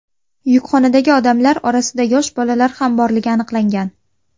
Yukxonadagi odamlar orasida yosh bolalar ham borligi aniqlangan.